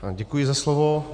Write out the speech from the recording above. Děkuji za slovo.